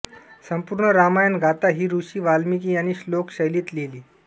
संपूर्ण रामायण गाथा ही ऋषी वाल्मिकी यांनी श्लोक शैलीत लिहिली